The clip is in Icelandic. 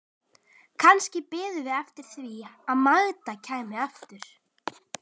Kannski biðum við eftir því að Magda kæmi aftur.